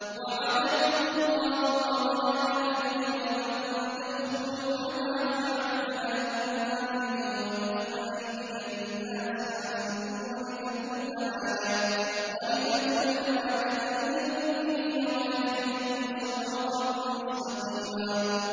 وَعَدَكُمُ اللَّهُ مَغَانِمَ كَثِيرَةً تَأْخُذُونَهَا فَعَجَّلَ لَكُمْ هَٰذِهِ وَكَفَّ أَيْدِيَ النَّاسِ عَنكُمْ وَلِتَكُونَ آيَةً لِّلْمُؤْمِنِينَ وَيَهْدِيَكُمْ صِرَاطًا مُّسْتَقِيمًا